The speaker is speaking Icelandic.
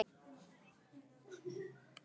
Og allir að segja sís!